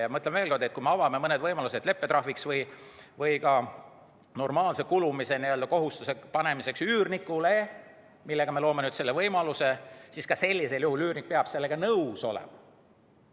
Ja ma ütlen veel kord, et kui me avame mõned võimalused leppetrahviks või ka normaalse kulumise katmise kohustuse panemiseks üürnikule, siis üürnik peab sellega nõus olema.